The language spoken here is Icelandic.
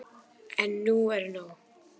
En nú er nóg!